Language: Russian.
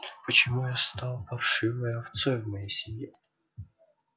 почему я стал паршивой овцой в моей семье